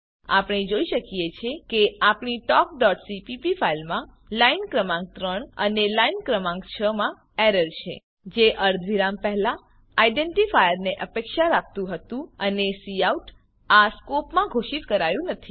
આપણે જોઈ શકીએ છીએ કે આપણી talkસીપીપી ફાઈલમાં લાઈન ક્રમાંક ૩ અને લાઈન ક્રમાંક ૬ માં એરર છે જે અર્ધવિરામ પહેલા આઇડેન્ટીફાયરને અપેક્ષા રાખતું હતું અને કાઉટ આ સ્કોપમાં ઘોષિત કરાયું નથી